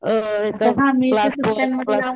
अ class पण,